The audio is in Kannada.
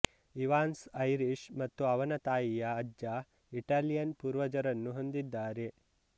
ಇವಾನ್ಸ್ ಐರಿಶ್ ಮತ್ತು ಅವನ ತಾಯಿಯ ಅಜ್ಜ ಇಟಾಲಿಯನ್ ಪೂರ್ವಜರನ್ನು ಹೊಂದಿದ್ದಾರೆ